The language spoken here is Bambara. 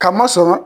Ka masɔrɔ